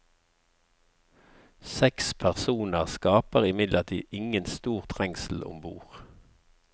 Seks personer skaper imidlertid ingen stor trengsel om bord.